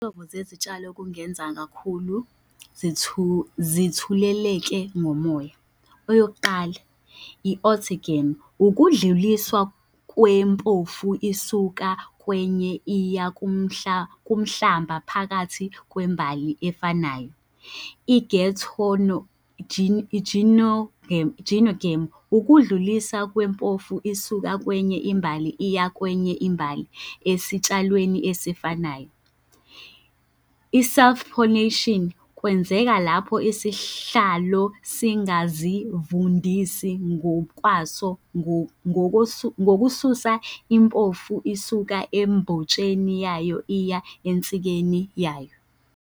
Izinhlobo zezitshalo okungenza kakhulu zithuleleke ngomoya. Eyokuqala, . Ukudluliswa kwempomfu isuka kwenye iya kumhlamba phakathi kwembali efanayo. ukudluliswa kwempofu isuka kwenye imbali iya kwenye imbali esitshalweni esifanayo. I-self pollination kwenzeka lapho isihlalo singazivundisi ngokwaso ngokusuka impofu isuka embotsheni yayo iya ensikeni yayo.